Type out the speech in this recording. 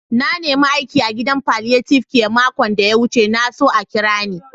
Na nema aiki a'gidan palliative care makon da ya wuce. Na so a kira ni.